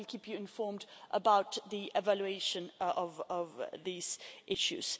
We will keep you informed about the evaluation of these issues.